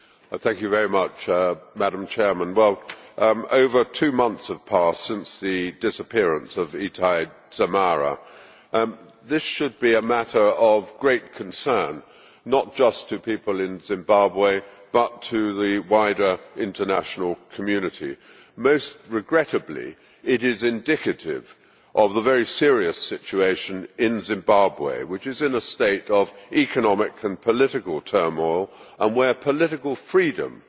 Madam President, over two months have passed since the disappearance of Itai Dzamara. This should be a matter of great concern, not just to people in Zimbabwe, but to the wider international community. Most regrettably, it is indicative of the very serious situation in Zimbabwe, which is in a state of economic and political turmoil and where political freedom does not exist.